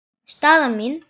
Staðan mín?